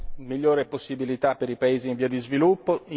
e migliori possibilità per i paesi in via di sviluppo.